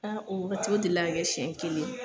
Aa o wa o deli la ka kɛ siɲɛ kelen.